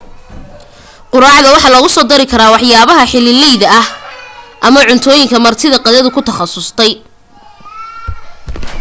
quraacda waxa lagu soo dari karaa waxyaalaha xillileyda ah ama cuntooyinka marti qaaduhu ku takhasusay